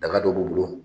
Daga dɔ b'u bolo